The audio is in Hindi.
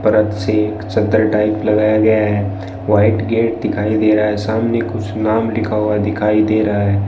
परत से चद्दर टाइप लगाया गया है व्हाइट गेट दिखाई दे रहा है सामने कुछ नाम लिखा हुआ दिखाई दे रहा है।